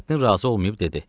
Nurəddin razı olmayıb dedi: